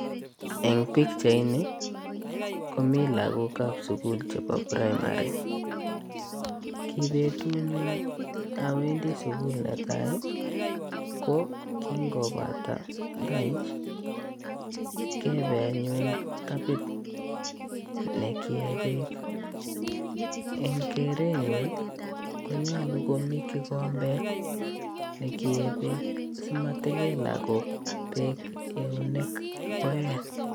Eng pichait ini, komii lagokap sukul chebo primary. Ki betut nyun awendi sukul netai, ko kingobata lunch, kebe anyun tapit nekiee beek. Eng keret nyun, konyolu komii kikombet ne keee beek. Simatikei lagok beek eunek koee.